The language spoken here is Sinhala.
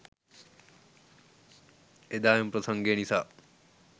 එදා එම ප්‍රසංගය නිසා